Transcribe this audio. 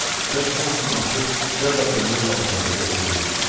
Gah hamısını atıb cəld addımlarla otaqda gəzirdim, fikrə gedirdim.